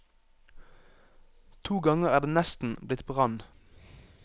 To ganger er det nesten blitt brann.